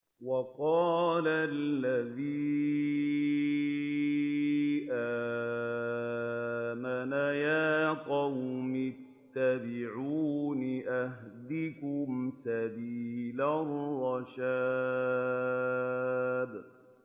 وَقَالَ الَّذِي آمَنَ يَا قَوْمِ اتَّبِعُونِ أَهْدِكُمْ سَبِيلَ الرَّشَادِ